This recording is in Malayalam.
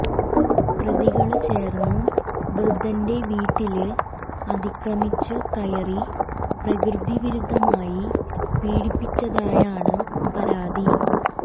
പ്രതികള് ചേര്ന്ന് വൃദ്ധന്റെ വീട്ടില് അതിക്രമിച്ച് കയറി പ്രകൃതി വിരുദ്ധമായി പീഡിപ്പിച്ചതായാണ് പരാതി